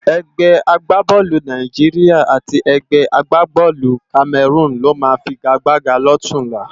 Ègbè àgbábòlú Nàijiriá àti ègbè àgbábòlú Kámèrún ló má figágbágá lòtúnlá